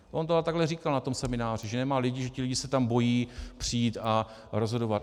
On to ale takhle říkal na tom semináři, že nemá lidi, že ti lidi se tam bojí přijít a rozhodovat.